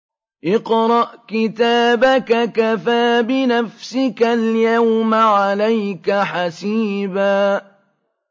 اقْرَأْ كِتَابَكَ كَفَىٰ بِنَفْسِكَ الْيَوْمَ عَلَيْكَ حَسِيبًا